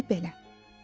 Deməli belə.